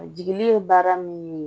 Jigi ye baara min ye